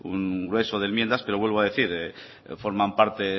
un grueso de enmiendas pero vuelvo a decir que forman parte